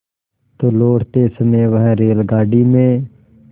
तो लौटते समय वह रेलगाडी में